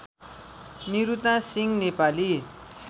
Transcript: Niruta Singh Nepali